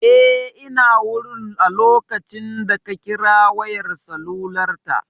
Eh ina wurin a lokacin da ka kira wayar salular ta